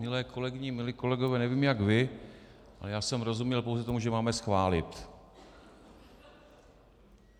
Milé kolegyně, milí kolegové, nevím, jak vy, ale já jsem rozuměl pouze tomu, že máme schválit.